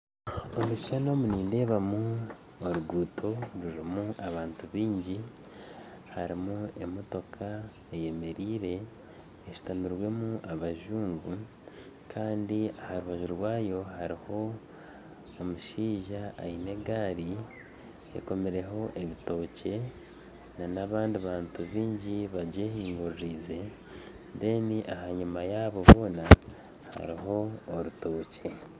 Omu kishushani omu nindeebamu oruguto rurimu abantu baingi harimu emotoka eyemereire hashutamiremu abazungu kandi aha rubaju rwayo hariho omushaija aine egaari ekomireho ebitookye n'abandi bantu baingi bagyehinguririze reero enyima yaabo boona hariyo orutookye